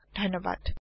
যোগ দিয়াৰ বাবে ধণ্যবাদ